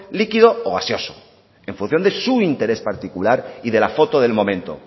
líquido o gaseoso en función de su interés particular y de la foto del momento